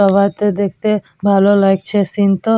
পাহাড়টা দেখতে ভালো লাগছে সিন্ তো।